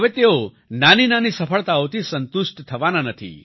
હવે તેઓ નાની નાની સફળતાઓથી સંતુષ્ટ થવાના નથી